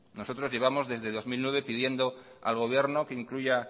nosotros llevamos desde el dos mil nueve pidiendo al gobierno que incluya